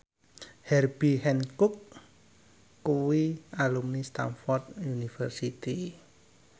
Herbie Hancock kuwi alumni Stamford University